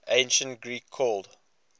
ancient greek called